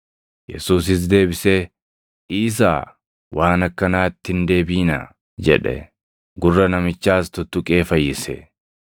Yesuusis deebisee, “Dhiisaa! Waan akkanaa itti hin deebiʼinaa” jedhe; gurra namichaas tuttuqee fayyise.